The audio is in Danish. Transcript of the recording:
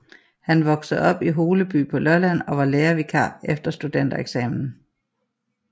Han voksede op i Holeby på Lolland og var lærervikar efter studentereksamen